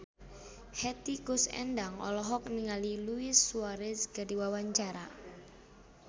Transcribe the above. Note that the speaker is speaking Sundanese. Hetty Koes Endang olohok ningali Luis Suarez keur diwawancara